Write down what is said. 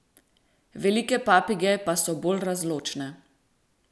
Velike papige pa so bolj razločne.